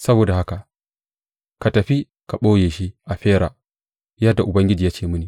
Saboda haka na tafi na ɓoye shi a Fera, yadda Ubangiji ya ce mini.